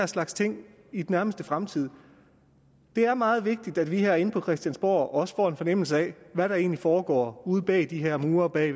slags ting i nærmeste fremtid det er meget vigtigt at vi herinde på christiansborg også får en fornemmelse af hvad der egentlig foregår ude bag de her mure bag